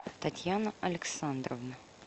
татьяна александровна